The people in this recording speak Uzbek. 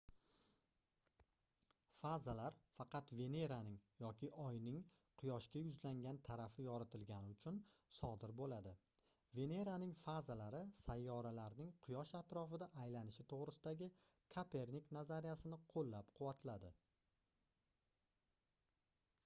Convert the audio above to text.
fazalar faqat veneraning yoki oyning quyoshga yuzlangan tarafi yoritilgani uchun sodir bo'ladi. veneraning fazalari sayyoralarning quyosh atrofida aylanishi to'g'risidagi kopernik nazariyasini qo'llab-quvvatladi